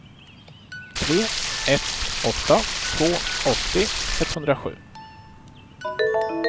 tre ett åtta två åttio etthundrasju